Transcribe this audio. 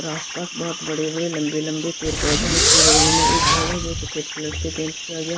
और आसपास बहुत बड़े हैं लंबे-लंबे पैर पौधे और उसके बगल में एक घर है जो सफेद कलर से पेंट किया गया ।